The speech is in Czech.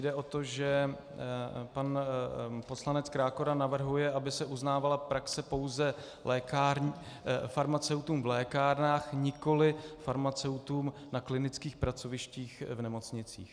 Jde o to, že pan poslanec Krákora navrhuje, aby se uznávala praxe pouze farmaceutům v lékárnách, nikoliv farmaceutům na klinických pracovištích v nemocnicích.